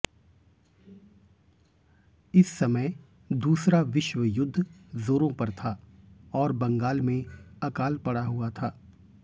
इस समय दूसरा विश्वयुद्ध जोरों पर था और बंगाल में अकाल पड़ा हुआ था